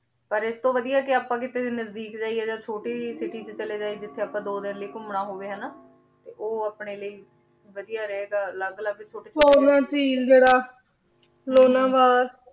ਪਰ ਏਸ ਤੋਂ ਵਾਦਿਯ ਆਪਾਂ ਕਿਤੇ ਨਜਦੀਕ ਜਯਾ ਯਾ ਚੋਟੀ ਕੀਤੀ ਚਲੇ ਜਯਾ ਜਿਥੇ ਆਪਾਂ ਘੂਮਨਾ ਹੋਵੇ ਹਾਨਾ ਤੇ ਊ ਅਪਨੇ ਲੈ ਵਾਦਿਯ ਰਹੀ ਗਾ ਅਲਗ ਅਲਗ ਛੋਟੇ ਛੋਟੇ